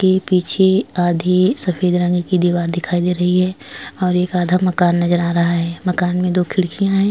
के पीछे आधी सफेद रंग की दीवार दिखाई दे रही है और एक आधा मकान नजर आ रहा है मकान में दो खिड़कियां हैं।